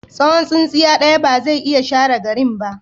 Tsawon tsintsiya ɗaya ba zai iya share garin ba.